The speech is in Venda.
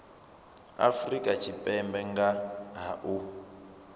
afrika tshipembe nga ha u